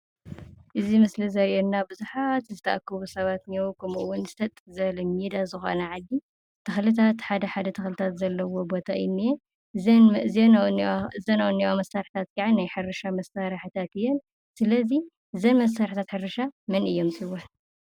እዚ ምስሊ ዘርእየና ቡዙሓት ዝተአከቡ ሰባት እኔዉ፤ ከምኡውን ሰጥ ዝበለ ሜዳ ዝኮነ ዓዲ ተክልታት ሓደ ሓደ ተክሊታት ዘለዎ ቦታ እዩ ዝንኤ፡፡ እዘን አብኡ ዝንሄዋ መሳርሒታት ከዓ ናይ ሕርሻ መሳርሕታት እየን፡፡ ስለ እዚ እዘን መሳርሒታት ሕርሻ መን እየን ሹመን?